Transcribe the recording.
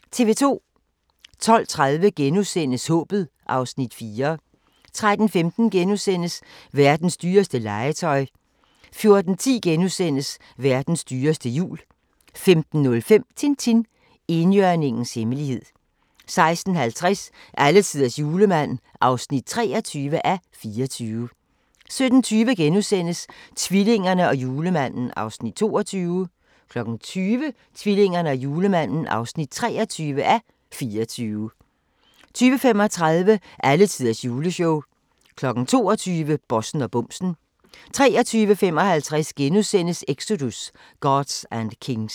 12:30: Håbet (Afs. 4)* 13:15: Verdens dyreste legetøj * 14:10: Verdens dyreste jul * 15:05: Tintin: Enhjørningens hemmelighed 16:50: Alletiders julemand (23:24) 17:20: Tvillingerne og julemanden (22:24)* 20:00: Tvillingerne og julemanden (23:24) 20:35: Alletiders juleshow 22:00: Bossen og bumsen 23:55: Exodus: Gods and Kings *